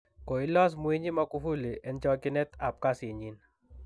Koilos Mwinyi Magufuli en chokinet ab kasinyin.